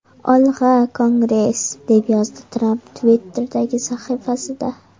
Olg‘a, Kongress!” deb yozdi Tramp Twitter’dagi sahifasida.